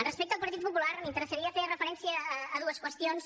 respecte al partit popular m’interessaria fer referència a dues qüestions